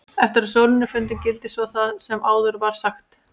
Eftir að sólin er fundin gildir svo það sem áður var sagt.